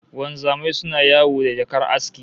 Wanzamai suna yawo da jakar aski